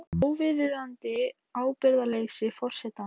Óviðunandi ábyrgðarleysi forsetans